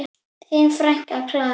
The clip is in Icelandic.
Þín frænka, Klara.